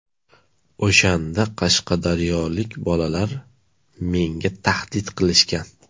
O‘shanda qashqadaryolik bolalar menga tahdid qilishgan.